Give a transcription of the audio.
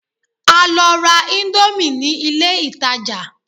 A lọ ra íńdómì ní ilé ìtajà.